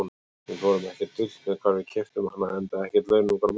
Við fórum ekkert dult með hvar við keyptum hana, enda ekkert launungarmál.